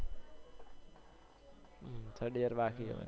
tird year બાકી હવે